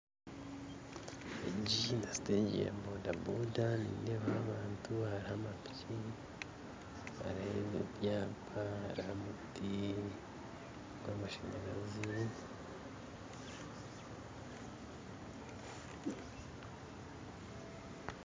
Egi ni siteegi ya bodaboda nindeebaho abantu hariho amapiki, hariho ebyapa hariho omuti gw'amasanyarazi.